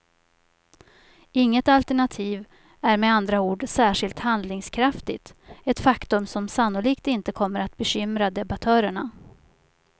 Inget alternativ är med andra ord särskilt handlingskraftigt, ett faktum som sannolikt inte kommer bekymra debattörerna.